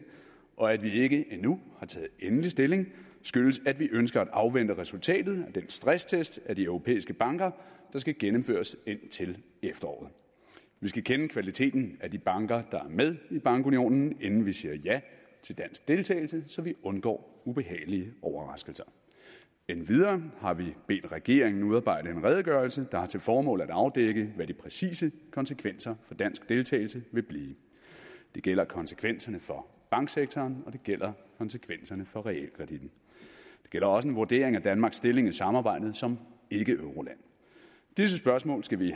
og at vi ikke endnu har taget endelig stilling skyldes at vi ønsker at afvente resultatet af den stresstest af de europæiske banker der skal gennemføres indtil efteråret vi skal kende kvaliteten af de banker der er med i bankunionen inden vi siger ja til dansk deltagelse så vi undgår ubehagelige overraskelser endvidere har vi bedt regeringen udarbejde en redegørelse der har til formål at afdække hvad de præcise konsekvenser for dansk deltagelse vil blive det gælder konsekvenserne for banksektoren og det gælder konsekvenserne for realkreditten det gælder også en vurdering af danmarks stilling i samarbejdet som ikkeeuroland disse spørgsmål skal vi